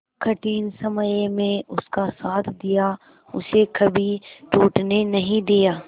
कठिन समय में उसका साथ दिया उसे कभी टूटने नहीं दिया